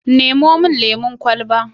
Nemo min lemon kwalaba.